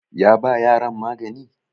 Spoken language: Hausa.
ya ba yaran magani?